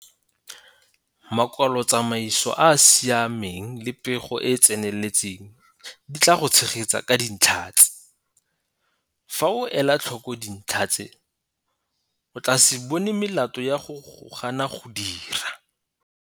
Makwalotsamaiso a a siameng le pego e e tseneletseng di tla go tshegetsa ka dintlha tse. Fa o ela tlhoko dintlha tse o tla se bone melato ya go gana go dira.